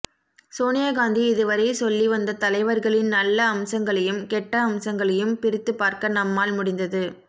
சோனியாகாந்தி இதுவரை சொல்லிவந்த தலைவர்களின் நல்ல அம்சங்களையும் கெட்ட அம்சங்களையும் பிரித்து பார்க்க நம்மால் முடிந்தது